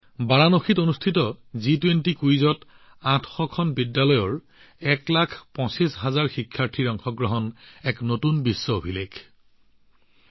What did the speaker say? বাৰাণসীত অনুষ্ঠিত জি২০ কুইজত ৮০০খন বিদ্যালয়ৰ ১২৫ লাখ ছাত্ৰছাত্ৰীৰ অংশগ্ৰহণ এক নতুন বিশ্ব অভিলেখ ৰচনা কৰে